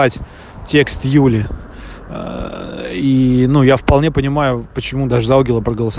ть текст юли ээ ну я вполне понимаю почему даже за алгебру проголосо